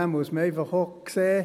Dann muss man einfach auch sehen: